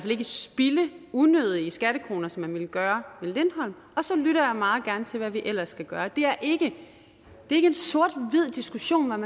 ikke spilde unødige skattekroner som man ville gøre med lindholm og så lytter jeg meget gerne til hvad vi ellers skal gøre det er ikke en sort hvid diskussion om